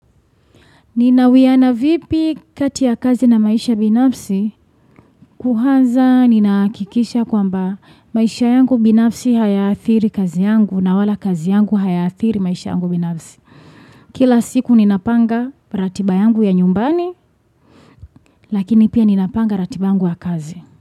Ninawiana vipi kati ya kazi na maisha binafsi? Kwanza ninahakikisha kwamba maisha yangu binafsi hayaathiri kazi yangu na wala kazi yangu hayaathiri maisha yangu binafsi. Kila siku ninapanga ratiba yangu ya nyumbani lakini pia ninapanga ratiba yangu ya kazi.